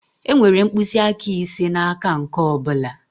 Enwere mkpịsị aka ise n'aka nke ọ bụla.